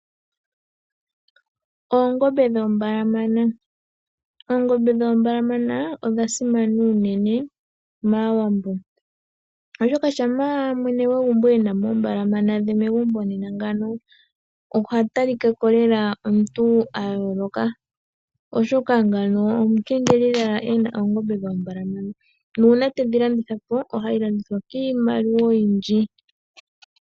Oongombe dhoombalamana odha simana unene maAwambo oshoka uuna mwene gwegumbo e namo oombalamana dhe megumbo nena ngawo oha talikako lela omuntu a yooloka oshoka ngawo omukengeli lela e na oongombe dhoombalamana nuuna tedhi landithapo ohe dhi landitha kiimaliwa oyindji.